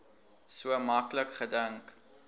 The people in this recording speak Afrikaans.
so maklik gedink